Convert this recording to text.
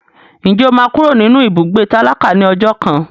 Ǹjẹ́ o máa kúrò nínú ibùgbé tálákà ní ọjọ́ kan?